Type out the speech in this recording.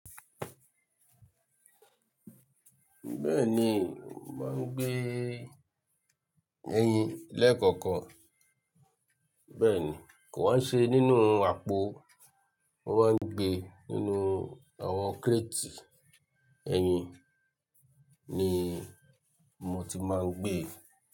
Bẹ́ẹ̀ni, mo máa ń gbé ẹyin lẹ́ẹ̀kọ̀okan. Bẹ́ẹ̀ni, kò wá n ṣe nínú àpò o, mo maá ń gbé nínú àwọn kírétì ẹyin ni mo ti máa ń gbé.